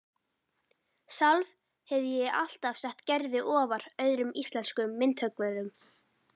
Sjálf hefi ég alltaf sett Gerði ofar öðrum íslenskum myndhöggvurum